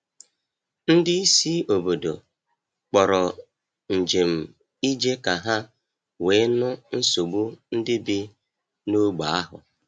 Ndị isi obodo kpọrọ njem ije ka ha wee nụ nsogbu ndị bi n’ógbè ahụ.